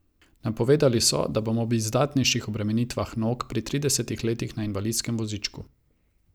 Napovedali so, da bom ob izdatnejših obremenitvah nog pri trideset letih na invalidskem vozičku.